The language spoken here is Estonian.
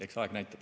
Eks aeg näitab.